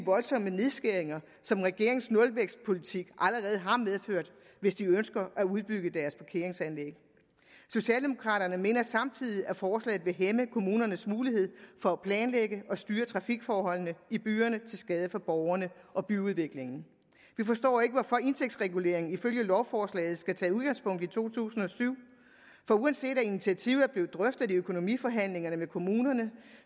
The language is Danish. voldsomme nedskæringer som regeringens nulvækstpolitik allerede har medført hvis de ønsker at udbygge deres parkeringsanlæg socialdemokraterne mener samtidig at forslaget vil hæmme kommunernes mulighed for at planlægge og styre trafikforholdene i byerne til skade for borgerne og byudviklingen vi forstår ikke hvorfor indtægtsreguleringen ifølge lovforslaget skal tage udgangspunkt i to tusind og syv for uanset at initiativet er blevet drøftet i økonomiforhandlingerne med kommunerne